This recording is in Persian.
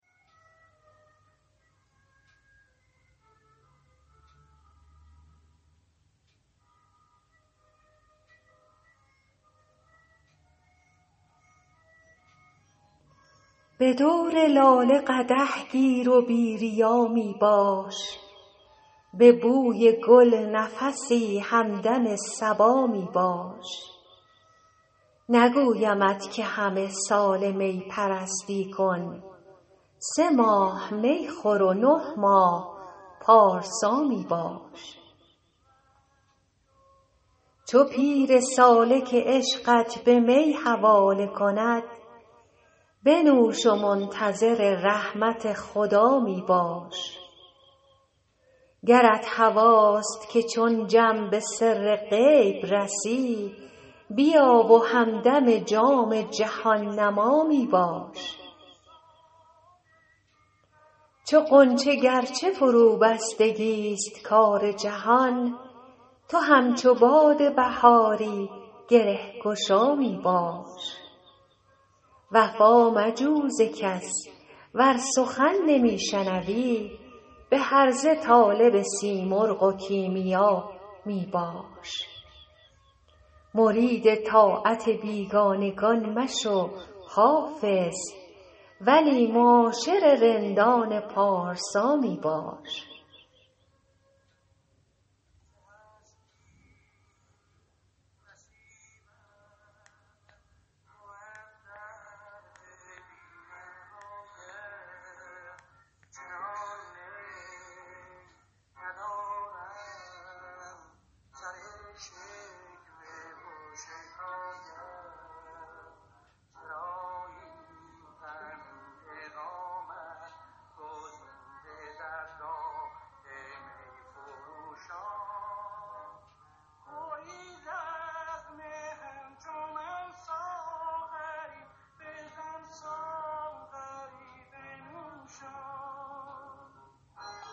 به دور لاله قدح گیر و بی ریا می باش به بوی گل نفسی همدم صبا می باش نگویمت که همه ساله می پرستی کن سه ماه می خور و نه ماه پارسا می باش چو پیر سالک عشقت به می حواله کند بنوش و منتظر رحمت خدا می باش گرت هواست که چون جم به سر غیب رسی بیا و همدم جام جهان نما می باش چو غنچه گر چه فروبستگی ست کار جهان تو همچو باد بهاری گره گشا می باش وفا مجوی ز کس ور سخن نمی شنوی به هرزه طالب سیمرغ و کیمیا می باش مرید طاعت بیگانگان مشو حافظ ولی معاشر رندان پارسا می باش